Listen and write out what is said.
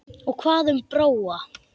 Og hvað um Bróa?